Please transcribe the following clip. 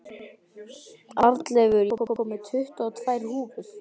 Arnleifur, ég kom með tuttugu og tvær húfur!